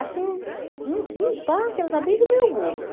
Assim, em em parte, ela está bem do meu gosto.